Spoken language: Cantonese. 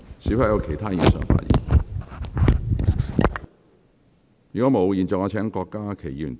是否有其他議員想發言？